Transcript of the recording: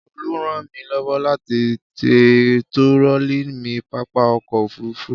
Olú ràn mí lọ́wọ́ láti ti turọlí mi ní pápá ọkọ̀-òfurufú.